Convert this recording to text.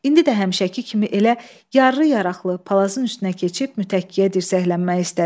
İndi də həmişəki kimi elə yarrı yaraqlı palazın üstünə keçib mütəkkəyə dirsəklənmək istədi.